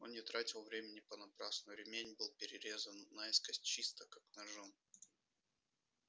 он не тратил времени понапрасну ремень был перерезан наискось чисто как ножом